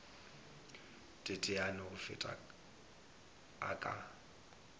teteane go feta a ka